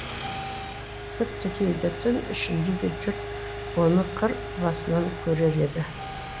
тіпті кейде түн ішінде де жұрт оны қыр басынан көрер еді